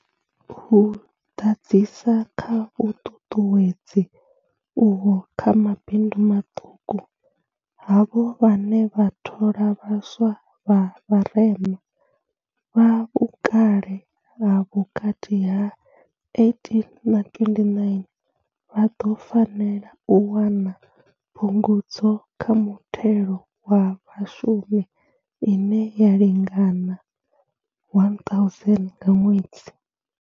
U ḓadzisa kha vhuṱuṱuwedzi uho kha mabindu maṱuku, havho vhane vha thola vha swa vha vharema, vha vhukale ha vhukati ha 18 na 29, vha ḓo fanela u wana phungudzo kha muthelo wa Vhashumi ine ya lingana R1 000 nga ṅwedzi.